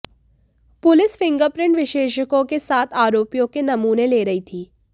police finger print विशेषज्ञों के साथ आरोपियों के नमूने ले रही थी